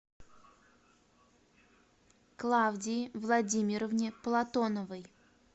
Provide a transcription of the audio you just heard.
клавдии владимировне платоновой